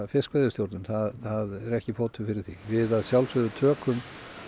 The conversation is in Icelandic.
fiskveiðistjórnun það er ekki fótur fyrir því við að sjálfsögðu tökum